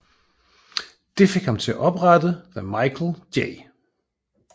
Det fik ham til at oprette The Michael J